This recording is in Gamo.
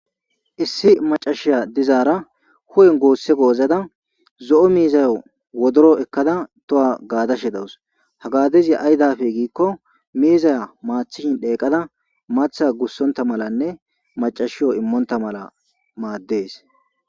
issi macashiya dizaara hu7en goosse goozada zo7o miizayo wodoro ekkada toha gaadashe dawus ha gaadezi aydafe giikko miizaya maathishin dheeqada matha gussonta malanne macashiyo immonta mala maaddees